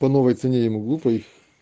по новой цене я не глупый